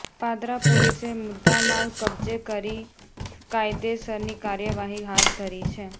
પાદરા પોલીસે મુદ્દામાલ કબ્જે કરી કાયદેસરની કાર્યવાહી હાથ ધરી છે